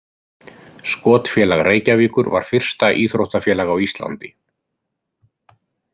Skotfélag Reykjavíkur var fyrsta íþróttafélag á Íslandi.